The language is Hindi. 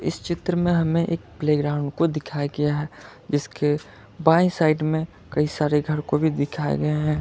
इस चित्र में हमें एक प्लेग्राउंड को दिखाया गया है जिसके बाईं साइड में कई सारे घर को भी दिखाया गया है।